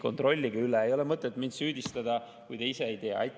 Kontrollige üle, ei ole mõtet mind süüdistada, kui te ise ei tea.